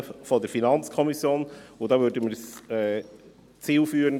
Wir fänden eine gemeinsame Beratung deshalb zielführend.